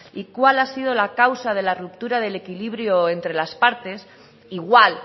y cuál ha sido la causa de la ruptura del equilibrio entre las partes igual